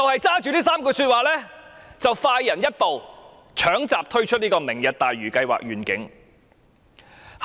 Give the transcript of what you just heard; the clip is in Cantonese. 她基於這3個重點快人一步，搶閘推出"明日大嶼願景"計劃。